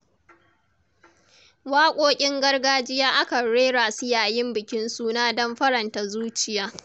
Waƙoƙin gargajiya akan rera su yayin bikin suna don faranta zuciya.